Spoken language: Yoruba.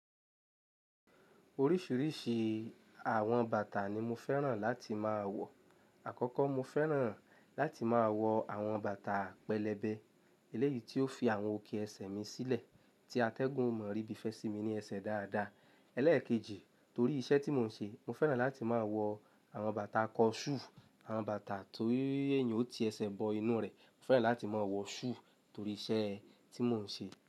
Oríṣiríṣi àwọn bàtà ni mo fẹ́ràn láti máa wọ̀. Àkọ́kọ́ mo fẹ́ràn láti máa wọ àwọn bàtà pẹlẹbẹ, eléyìí tí ó fi àwọn òkè ẹsẹ̀ mi sílẹ̀ tí atẹ́gùn ò mọ̀ rí bí fẹ́ sí mi ní ẹsẹ̀ dáadáa. Eléèkejì torí iṣẹ́ tí mò ń ṣe, mo fẹ́ràn láti máa wọ o. Àwọn bàtà kọnṣúù, àwọn bàtà tó ii èèyàn ó ti ẹsẹ̀ bọ inú rẹ̀. Mo fẹ́ràn láti máa wọ ṣúù torí iṣẹ́ tí mò ń ṣe.